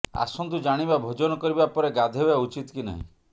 ଆସନ୍ତୁ ଜାଣିବା ଭୋଜନ କରିବା ପରେ ଗାଧୋଇବା ଉଚିତ କି ନାହିଁ